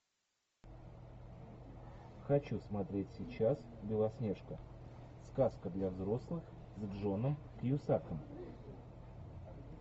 хочу смотреть сейчас белоснежка сказка для взрослых с джоном кьюсаком